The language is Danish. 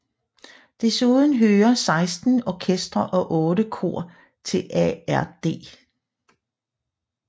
Desuden hører 16 orkestre og 8 kor til ARD